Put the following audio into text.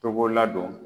Togola don